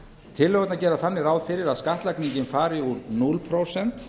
tillögurnar gera þannig ráð fyrir að skattlagningin fari úr núll prósent